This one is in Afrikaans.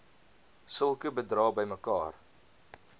sulke bedrae bymekaar